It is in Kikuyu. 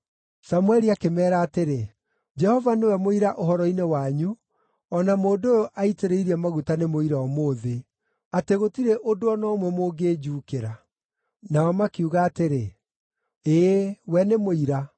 Samũeli akĩmeera atĩrĩ, “Jehova nĩwe mũira ũhoro-inĩ wanyu, o na mũndũ ũyũ aitĩrĩirie maguta nĩ mũira ũmũthĩ, atĩ gũtirĩ ũndũ o na ũmwe mũngĩnjuukĩra.” Nao makiuga atĩrĩ, “Ĩĩ we nĩ mũira.”